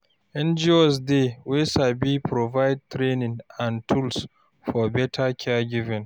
NGOs dey wey sabi provide training and tools for better caregiving